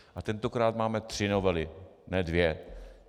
A tentokrát máme tři novely, ne dvě.